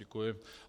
Děkuji.